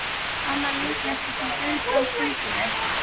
Annað líkneski til Guðbrands fylgdi með.